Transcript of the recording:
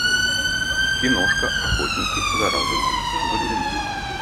киношка охотники за разумом загрузи